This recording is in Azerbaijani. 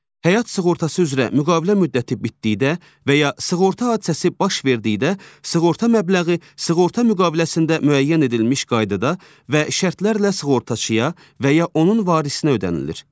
Həyat sığortası üzrə müqavilə müddəti bitdikdə və ya sığorta hadisəsi baş verdikdə sığorta məbləği sığorta müqaviləsində müəyyən edilmiş qaydada və şərtlərlə sığortaçıya və ya onun varisinə ödənilir.